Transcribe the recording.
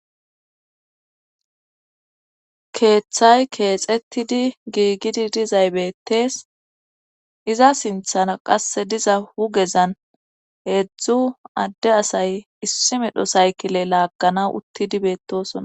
keeththay keexetidi giigidi dizay beettees iza sinthana qasse diza hugezan heedzdzu adde asay issi medho saykile laaganaw uttidi beettosona